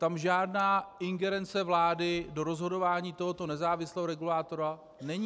Tam žádná ingerence vlády do rozhodování tohoto nezávislého regulátora není.